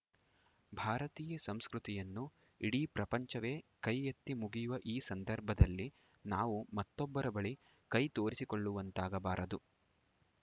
ಭಾರತೀಯ ಸಂಸ್ಕೃತಿಯನ್ನು ಇಡೀ ಪ್ರಪಂಚವೇ ಕೈ ಎತ್ತಿ ಮುಗಿಯುವ ಈ ಸಂದರ್ಭದಲ್ಲಿ ನಾವು ಮತ್ತೊಬ್ಬರ ಬಳಿ ಕೈ ತೋರಿಸಿಕೊಳ್ಳುವಂತಗಬಾರದು